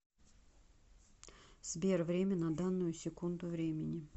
сбер время на данную секунду времени